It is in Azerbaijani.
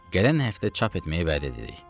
gələn həftə çap etməyi vəd edirik.